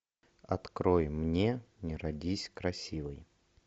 открой мне не родись красивой